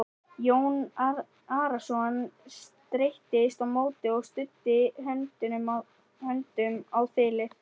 Jón Arason streittist á móti og studdi höndum á þilið.